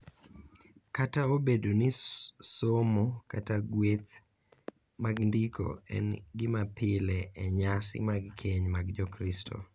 Kata obedo ni somo kata gweth mag ndiko en gima pile e nyasi mag keny mag Jokristo,